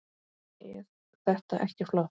Eð þetta ekki flott?